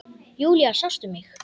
Júlía, sástu mig?